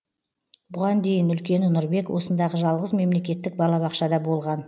бұған дейін үлкені нұрбек осындағы жалғыз мемлекеттік балабақшада болған